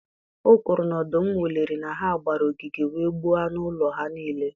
O kwuru na ọdụm wụliri na ha gbara ogige wee gbuo anụ ụlọ ha niile.